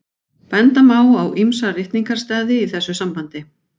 Benda má á ýmsa ritningarstaði í þessu sambandi.